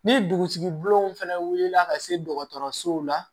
Ni dugusigi bilenw fɛnɛ wulila ka se dɔgɔtɔrɔsow la